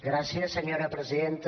gràcies senyora presidenta